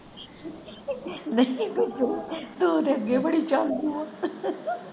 ਨਹੀਂ ਤੂੰ ਤੇ ਅੱਗੇ ਬੜੀ ਚਾਲੂ ਆ।